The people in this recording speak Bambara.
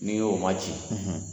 N'i y'o maci